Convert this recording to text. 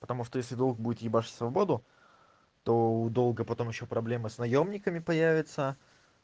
потому что если долг будет ебашить свободу то у долга потом ещё проблемы с наёмниками появится